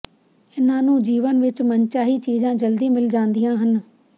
ਇਨ੍ਹਾਂ ਨੂੰ ਜੀਵਨ ਵਿੱਚ ਮਨਚਾਹੀ ਚੀਜਾਂ ਜਲਦੀ ਮਿਲ ਜਾਂਦੀਆਂ ਹਨ